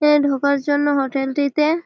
এ ঢোকার জন্য হোটেলটিতে --